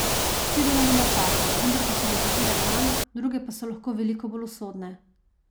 Vsi delamo napake, vendar pa so nekatere manj, druge pa so lahko veliko bolj usodne.